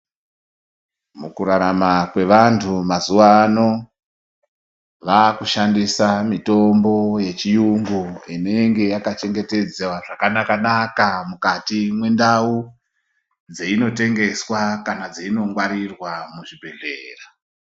Mukurarama kwevantu mazuwa ano vakushandisa mutombo yechiyungu inenge yakachengetedzwa zvakanaka naka mukati mwendau dzeinotengeswa kana dzeinongwarirwa muzvibhedhlera.